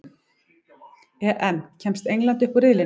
EM: Kemst England upp úr riðlinum?